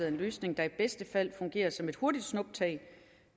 en løsning der i bedste fald fungerer som et hurtigt snuptag